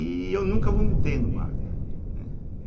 E eu nunca vomitei no barco. né